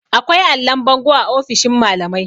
akwai allon bango a ofishin malamai